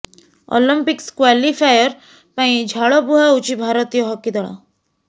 Olympics qualifier ପାଇଁ ଝାଳ ବୁହାଉଛି ଭାରତୀୟ ହକି ଦଳ